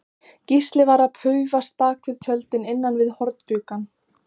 Gísli var að paufast bak við tjöldin innan við horngluggann.